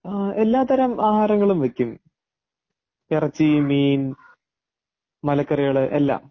എല്ലാത്തരം ആഹാരങ്ങളും വെക്കും ഇറച്ചി, മീൻ ,മലക്കറികൾ എല്ലാം.